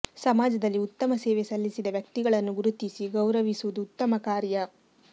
ಸಮಾಜದಲ್ಲಿ ಉತ್ತಮ ಸೇವೆ ಸಲ್ಲಿಸಿದ ವ್ಯಕ್ತಿಗಳನ್ನು ಗುರುತಿಸಿ ಗೌರವಿಸುವುದು ಉತ್ತಮ ಕಾರ್ಯ